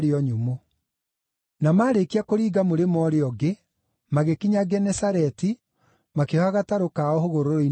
Na maarĩkia kũringa mũrĩmo ũrĩa ũngĩ, magĩkinya Genesareti, makĩoha gatarũ kao hũgũrũrũ-inĩ cia iria.